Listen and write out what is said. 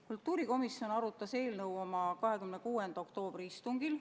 Kultuurikomisjon arutas eelnõu oma 26. oktoobri istungil.